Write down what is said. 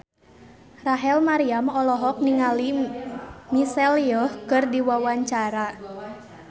Rachel Maryam olohok ningali Michelle Yeoh keur diwawancara